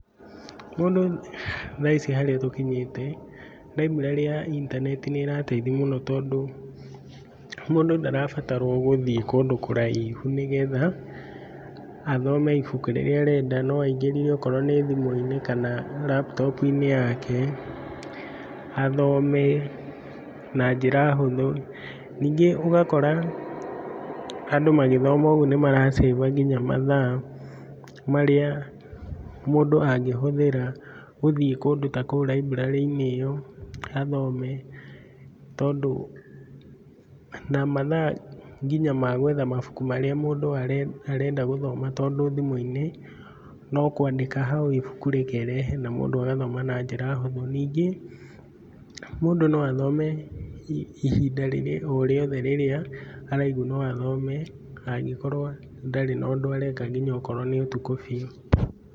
Mũndũ, thaa harĩa ici tũkinyĩte library ya intaneti nĩ ĩrateithia mũno tondũ, mũndũ ndarabatarwo gũthiĩ kũndũ kũraihu nĩ getha, athome ibuku rĩrĩa arenda. No aingĩre okorwo nĩ thimũ-inĩ kana laptop -inĩ yake, athome, na njĩra hũthũ. Ningĩ ũgakora, andũ magĩthoma ũguo nĩ maracĩba nginya mathaa, marĩa mũndũ angĩhũthĩra gũthiĩ kũndũ ta kũu library -inĩ ĩyo athome. Tondũ, na mathaa nginya ma gwetha mabuku marĩa mũndũ are arenda gũthoma tondũ thimũ-inĩ, no kwandĩka hau ibuku rĩkerehe na mũndũ agathoma na njĩra hũthũ ningĩ, mũndũ no athome ihinda rĩrĩa o rĩothe araigua no athome na angĩkorwo ndarĩ na ũndũ areka ngina angĩkorwo nĩ ũtukũ biũ.